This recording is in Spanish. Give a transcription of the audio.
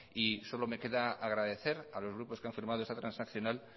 y solo me queda agradecer a los grupos que han formado esta transaccional